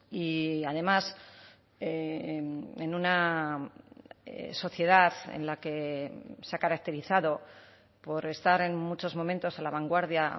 y además en una sociedad en la que se ha caracterizado por estar en muchos momentos a la vanguardia